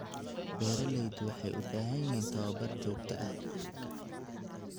Beeraleydu waxay u baahan yihiin tababar joogto ah.